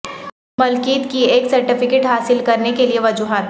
ملکیت کی ایک سرٹیفکیٹ حاصل کرنے کے لئے وجوہات